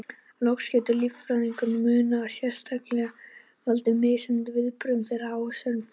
Loks getur líffræðilegur munur á einstaklingum valdið mismunandi viðbrögðum þeirra við áfengisneyslu.